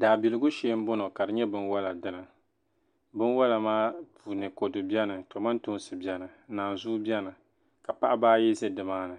daabiligu shee m-bɔŋɔ ka di nyɛ binwala dini binwala maa puuni kodu beni kamantoosi beni nanzua beni ka paɣiba ayi za ni maani